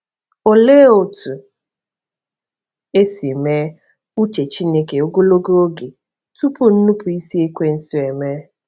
Olee otú e si mee uche Chineke ogologo oge tupu nnupụisi Ekwensu emee?